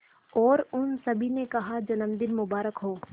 और उन सभी ने कहा जन्मदिन मुबारक हो